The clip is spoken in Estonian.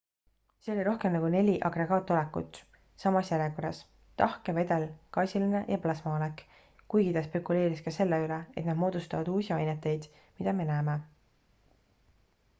see oli rohkem nagu neli agregaatolekut samas järjekorras – tahke vedel gaasiline ja plasmaolek – kuigi ta spekuleeris ka selle üle et nad moodustavad uusi aineteid mida me näeme